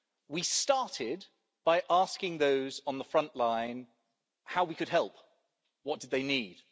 We started by asking those on the front line how we could help, what they needed.